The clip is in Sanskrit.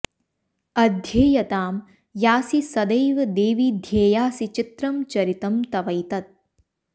अध्येयतां यासि सदैव देवि ध्येयासि चित्रं चरितं तवैतत्